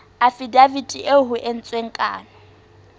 afidaviti eo ho entsweng kano